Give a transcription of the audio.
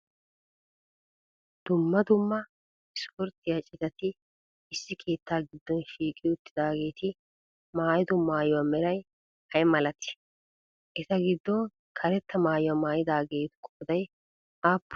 Dumma dumma ispportyiya citati issi keettaa giddon shiqqi uttidaageeti maayiddo maayuwa meray ayi malatii? Eta giddon karetta maayuwa maayidaageetu qooday aappunee?